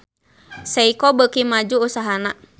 Seiko beuki maju usahana